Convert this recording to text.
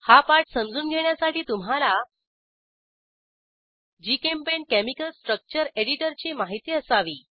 हा पाठ समजून घेण्यासाठी तुम्हाला जीचेम्पेंट केमिकल स्ट्रक्चर एडिटरची माहिती असावी